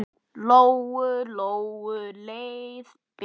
Lóu-Lóu leið betur.